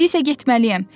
İndi isə getməliyəm.